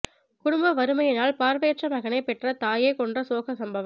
குடும்ப வறுமையினால் பார்வையற்ற மகனை பெற்ற தாயே கொன்ற சோக சம்பவம்